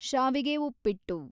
ಶಾವಿಗೆ ಉಪ್ಪಿಟ್ಟು